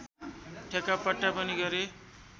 ठेक्कापट्टा पनि गरे